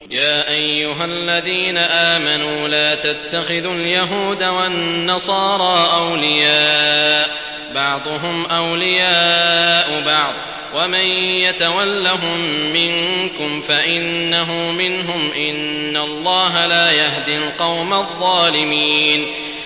۞ يَا أَيُّهَا الَّذِينَ آمَنُوا لَا تَتَّخِذُوا الْيَهُودَ وَالنَّصَارَىٰ أَوْلِيَاءَ ۘ بَعْضُهُمْ أَوْلِيَاءُ بَعْضٍ ۚ وَمَن يَتَوَلَّهُم مِّنكُمْ فَإِنَّهُ مِنْهُمْ ۗ إِنَّ اللَّهَ لَا يَهْدِي الْقَوْمَ الظَّالِمِينَ